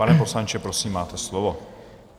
Pane poslanče, prosím, máte slovo.